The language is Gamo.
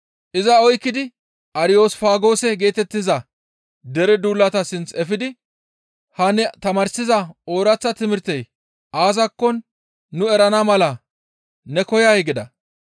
Iza oykkidi Ariyosfaagoose geetettiza dere duulata sinth efidi, «Ha ne tamaarsiza ooraththa timirtey aazakko nu erana mala ne koyay?» gida. Ariyosfaagoose